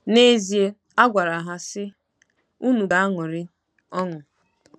N’ezie, a gwara ha, sị: “ Unu ga-aṅụrị ọṅụ .”